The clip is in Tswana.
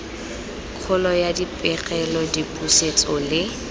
kgolo ya dipegelo dipusetso le